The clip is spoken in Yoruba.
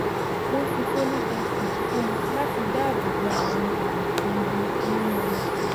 wọ́n fi folic acid fún ọ láti dáàbò bo àwọn àbùkù ìbí nínú ọmọ